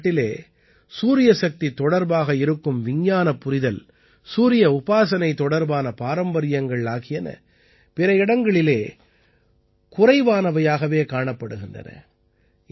நமது நாட்டிலே சூரியசக்தி தொடர்பாக இருக்கும் விஞ்ஞானப் புரிதல் சூரிய உபாசனை தொடர்பான பாரம்பரியங்கள் ஆகியன பிற இடங்களிலே குறைவானவையாகவே காணப்படுகின்றன